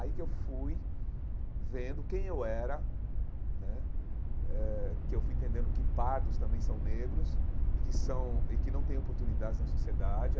Aí que eu fui vendo quem eu era né, eh que eu fui entendendo que pardos também são negros e que são e que não tem oportunidades na sociedade.